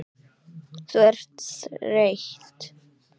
Þú ert þreytt.